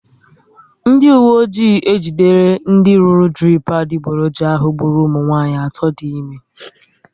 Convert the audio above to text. Ndị uwe ọjị ejidere ndị rụrụ dirip adiboroja ahụ gburu ụmụnwanyị atọ dị ime